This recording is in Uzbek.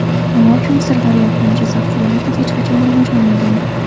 Nima uchun Sirdaryo bilan Jizzax viloyati hech qachon rivojlanmagan?